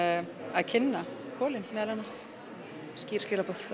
að kynna meðal annars skýr skilaboð